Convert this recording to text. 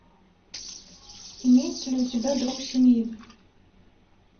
имеется ли у тебя друг семьи